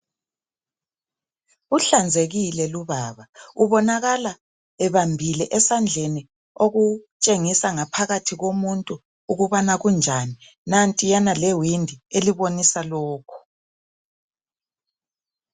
Uhlanzekile lubaba. Ubonakala ebambiie esandleni. Okutshengisa ingaphakathi komuntu, ukubana kunjani. Nantiyana lewindi elibonisa lokhu.